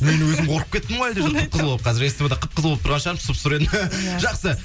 мен өзім қорқып кеттім ғой қып қызыл болып қазір ств да қып қызыл болып тұрған шығармын сұп сұры едім жақсы